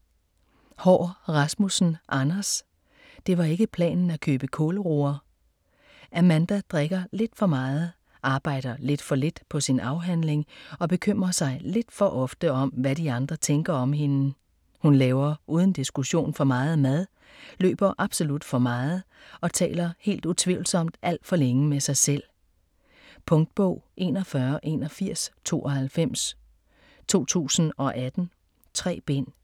Haahr Rasmussen, Anders: Det var ikke planen at købe kålroer Amanda drikker lidt for meget, arbejder lidt for lidt på sin afhandling og bekymrer sig lidt for ofte om hvad andre tænker om hende. Hun laver uden diskussion for meget mad, løber absolut for meget og taler helt utvivlsomt alt for længe med sig selv. Punktbog 418192 2018. 3 bind.